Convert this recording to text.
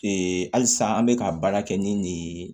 halisa an bɛ ka baara kɛ ni nin ye